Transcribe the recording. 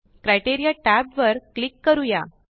criteria tab वर click करूया